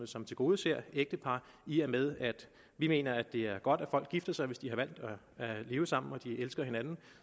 som tilgodeser ægtepar i og med at vi mener det er godt at folk gifter sig hvis de har valgt at leve sammen og de elsker hinanden